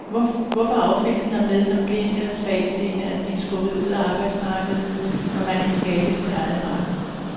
Hvorfor affinde sig med som blind eller svagtseende at blive skubbet ud af arbejdsmarkedet, når kan skabe sit eget marked?